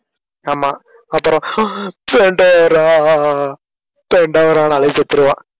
ஆமா அப்புறம் அஹ் தண்டரா ஆஹ் அஹ் அஹ் தண்டரா ஆஹ் செத்துருவான்.